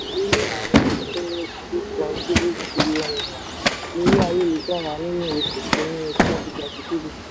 two point three trillion naira lórí ayélujára nínú oṣù kínní twenty twenty three.